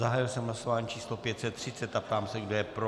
Zahájil jsem hlasování číslo 530 a ptám se, kdo je pro.